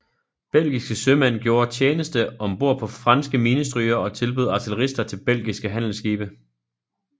Belgiske sømænd gjorde tjeneste om bord på franske minestrygere og tilbød artillerister til belgiske handelsskibe